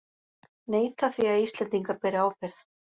Neita því að Íslendingar beri ábyrgð